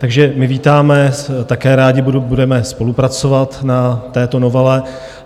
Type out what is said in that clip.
Takže my vítáme, také rádi budeme spolupracovat na této novele.